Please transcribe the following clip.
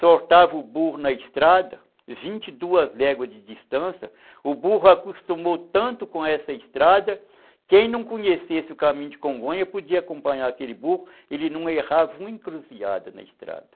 Soltava o burro na estrada, vinte e duas léguas de distância, o burro acostumou tanto com essa estrada, quem não conhecesse o caminho de Congonha podia acompanhar aquele burro, ele não errava uma encruzilhada na estrada.